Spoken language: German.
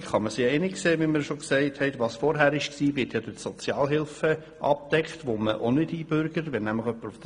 Zukünftig kann man sich einig sein, dass wer vorher Sozialhilfe bezogen hat, auch nicht eingebürgert wird.